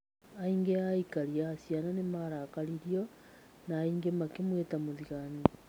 Aingĩ a aikari a Caina nĩ marakaririo , na angĩ makĩmwĩta mũthigani.